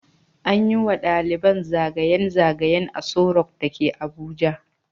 An yi wa daliban zagayen zagayen Aso rock da ke Abuja.